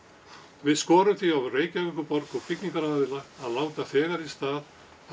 við skorum því á Reykjavíkurborg og byggingaraðila að láta þegar í stað af